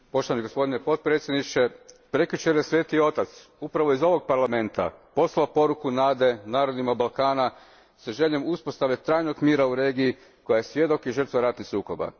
Gospodine predsjedniče, prekjučer je Sveti Otac, upravo iz ovog Parlamenta, poslao poruku nade narodima Balkana sa željom uspostave trajnog mira u regiji koja je svjedok i žrtva ratnih sukoba.